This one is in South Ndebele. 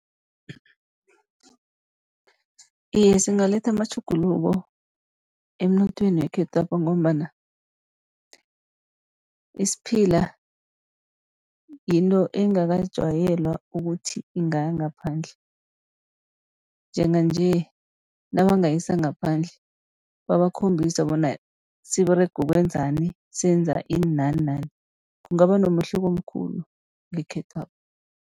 Iye, singaletha amatjhuguluko emnothweni wekhethwapha, ngombana isiphila yinto engakajayelwa ukuthi ingaya ngaphandle. Njenganje nabangayisa ngaphandle, babakhombise bona siberega ukwenzani, senza ini nani nani, kungaba nomehluko omkhulu ngekhethwapha.